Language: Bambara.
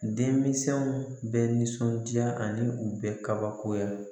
Denmisɛnw bɛ nisɔndiya ani u bɛ kabakoya